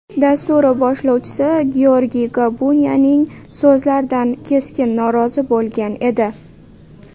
dasturi boshlovchisi Georgiy Gabuniyaning so‘zlaridan keskin norozi bo‘lgan edi.